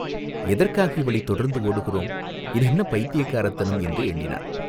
எதற்காக இவளைத் தொடர்ந்து ஓடுகிறோம் இது என்ன பைத்தியக்காரத்தனம் என்று எண்ணினான்.